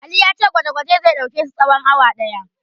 Ali ya ce gwaje-gwajen zai ɗauke su tsawon awa ɗaya.